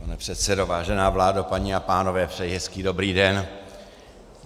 Pane předsedo, vážená vládo, paní a pánové, přeji hezký dobrý den.